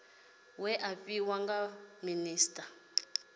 we a fhiwa nga minisita